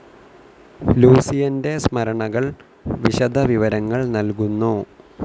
ലൂസിയൻ്റെ സ്മരണകൾ വിശദവിവരങ്ങൾ നൽകുന്നു.